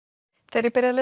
þegar ég byrjaði